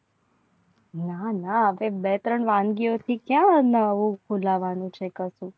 નાના બે ત્રણ વાનગીઓ કહા ફુલાવાનું છે. ત્રણ